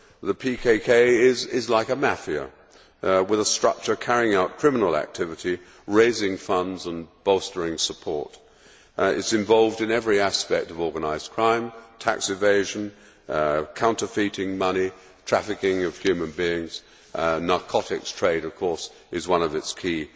The PKK is like a mafia, with a structure carrying out criminal activity, raising funds and bolstering support. It is involved in every aspect of organised crime tax evasion, counterfeiting money, trafficking of human beings and the narcotics trade, of course, is one of its key